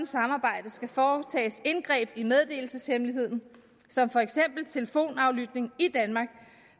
samarbejde skal foretages indgreb i meddelelseshemmeligheden som for eksempel telefonaflytning i danmark